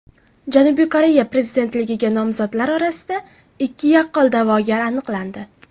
Janubiy Koreya prezidentligiga nomzodlar orasida ikki yaqqol da’vogar aniqlandi.